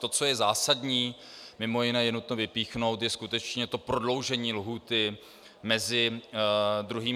To, co je zásadní, mimo jiné je nutno vypíchnout, je skutečně to prodloužení lhůty mezi 2. a 3. čtením.